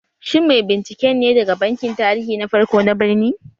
Shin mai binciken ne daga bankin tarihi na farko na birni?